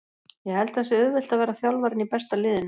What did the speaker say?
Ég held að það sé auðvelt að vera þjálfarinn í besta liðinu.